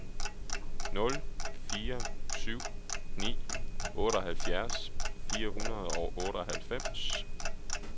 nul fire syv ni otteoghalvfjerds fire hundrede og otteoghalvfems